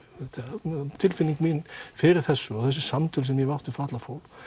tilfinning mín fyrir þessu og þessi samtöl sem ég hef átt við fatlað fólk